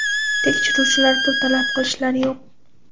Tekshiruvchilar, pul talab qilishlar yo‘q.